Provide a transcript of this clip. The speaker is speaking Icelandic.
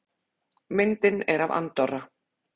Myndin er af Andorra.